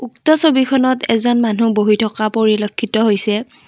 উক্ত ছবিখনত এজন মানুহ বহি থকা পৰিলক্ষিত হৈছে।